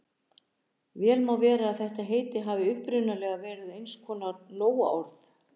Vel má vera að þetta heiti hafi upphaflega verið eins konar nóaorð.